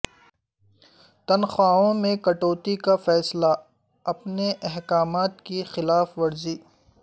تنخواہوں میں کٹوتی کا فیصلہ ا پنے احکامات کی خلاف ورزی